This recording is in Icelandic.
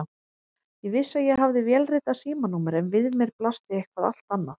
Ég vissi að ég hafði vélritað símanúmer en við mér blasti eitthvað allt annað.